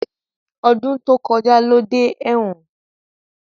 Ọdún tó kọjá ló dé ẹ̀wọ̀n